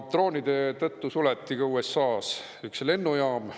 Droonide tõttu suleti USA-s üks lennujaam.